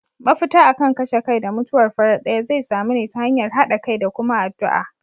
Mafita akan kashe kai da mutuwar farat daya zai samu ne ta hanyar hada kai da kuma addu'a.